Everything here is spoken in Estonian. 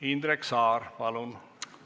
Indrek Saar, palun!